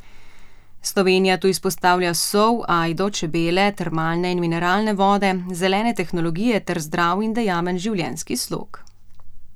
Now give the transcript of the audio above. Slovenija tu izpostavlja sol, ajdo, čebele, termalne in mineralne vode, zelene tehnologije ter zdrav in dejaven življenjski slog.